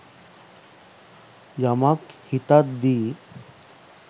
යමක් හිතද්දි